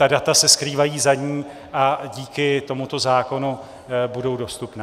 Ta data se skrývají za ní a díky tomuto zákonu budou dostupná.